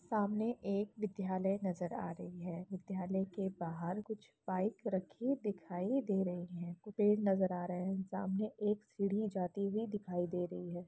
सामने एक विद्यालय नजर आ रही है| विद्यालय के बाहर कुछ बाइक रखी दिखाई दे रही हैं। पेड़ नजर आ रहे हैं। सामने एक सीढ़ी जाती हुई दिखाई दे रही है।